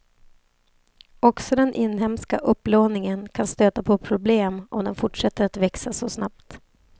Också den inhemska upplåningen kan stöta på problem om den fortsätter att växa så snabbt.